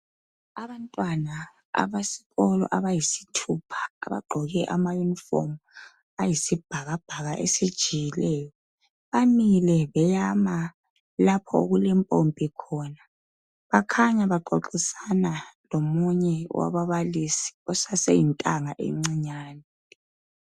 Abantwana abesikolo abayisithupha abagqoke ama uniform ayisibhakabhaka esijiyileyo. Bamile beyama lapho okulempompi khona. Bakhanya baxoxisana lomunye wababalisi osaseyintanga encinyane.